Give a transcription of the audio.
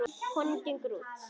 Konan gengur út.